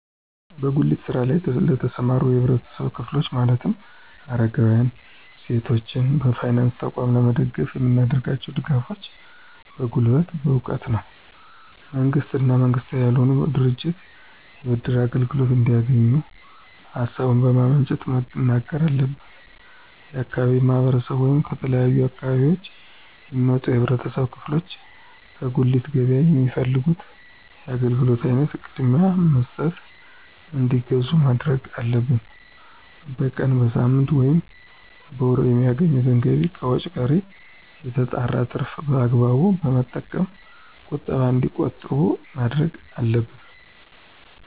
በጉሊት ስራ ለይ ለተሰማሩ የህብረተሰብ ክፍሎች ማለትም አረጋውያን፣ ሴቶችን በፋይናንስ ተቋም ለመደገፍ የምናደርጋቸው ድጋፎች በጉልበት፣ በእውቀት ነው። መንግስታዊ እና መንግስታዊ ባልሆኑ ድርጅቶች የብድር አገልግሎት እንዲያገኙ ሀሳቡን በማመንጨት መናገር አለብን። የአካባቢው ማህረሰብ ወይም ከተለያዩ አካባቢዎች የሚመጡ የህብረተሰብ ክፍሎች ከጉሊት ገበያ የሚፈልጉት የአገልግሎት አይነት ቅድሚያ በመስጠት እንዲገዙ ማድረግ አለብን። በቀን፣ በሳምንት፣ ወይም በወር የሚያገኙትን ገቢ ከወጭ ቀሪ የተጣራውን ትርፍ በአግባቡ በመጠቀም ቁጠባ እንዲቆጥቡ ማድረግ አለብን።